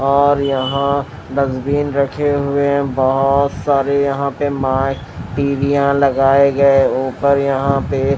और यहां डस्टबिन रखे हुए हैं बहोत सारे यहां पे मा पीलिया लगाए गए ऊपर यहां पे--